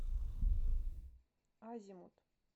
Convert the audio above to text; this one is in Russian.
азимут